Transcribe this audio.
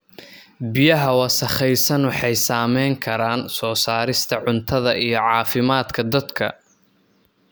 Biyaha wasakhaysan waxay saameyn karaan soo saarista cuntada iyo caafimaadka dadka.